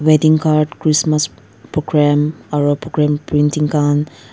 wedding card christmas program aru program printing khan--